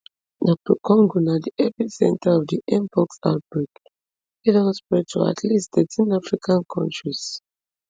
dr congo na di epicentre of di mpox outbreak wey don spread to at least thirteen african kontris